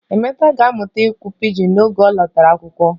Emeka ga-amụta ikwu pijin n'oge ọ lọtara akwụkwọ